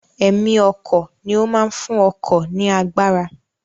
Ẹ̀mí ọkọ̀ ni ó máa ń fún ọkọ̀ ní agbára